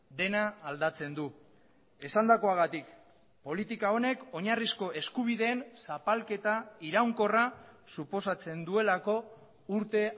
dena aldatzen du esandakoagatik politika honek oinarrizko eskubideen zapalketa iraunkorra suposatzen duelako urte